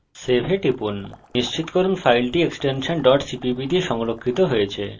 save এ টিপুন নিশ্চিত করুন যে file এক্সটেনশন cpp দিয়ে সংরক্ষিত হয়েছে